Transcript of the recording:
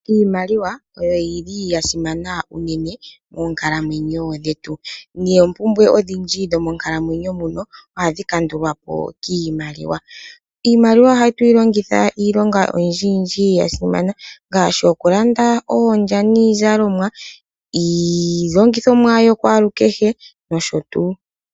Iimaliwaiyo yili ya simana moonkalamwenyo dhetu. Noompumbwe odhindji dho monkalamwenyo ohadhi kandulwapo kiimaliwa. iimaliwa ohatu yi longitha iilonga oyindji yindji ya simana ngashi, oku landa oondya niizalomwa, iilongithomwa yo kwalu kehe nosho tuu.